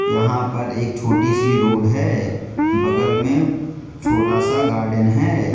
यहां पर एक छोटी सी रोड है बगल में छोटा सा गार्डन है।